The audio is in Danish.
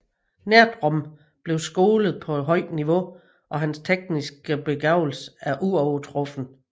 Nerdrum blev skolet på et højt niveau og hans tekniske begavelse er uovertruffen